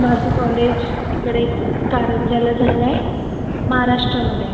माझं college तिकडे कारंज्याला झालय महाराष्ट्रामध्ये